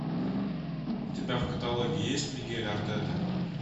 у тебя в каталоге есть мигель артета